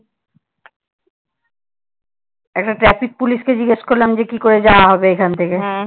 একটা traffic police যে কি করে যাওয়া হবে এখান থেকে?